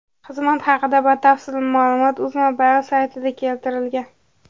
Xizmat haqida batafsil ma’lumot UzMobile saytida keltirilgan .